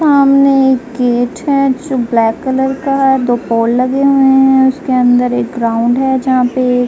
सामने एक गेट है जो ब्लैक कलर का है। दो पोल लगे हुए हैं। उसके अंदर एक ग्राउंड है जहां पे --